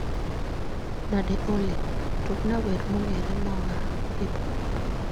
Nade Olly? Tugna wer mong'ere mae hip hop